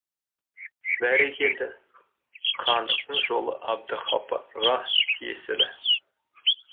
бәрекелді хандықтың жолы әбдіғапарға тиесілі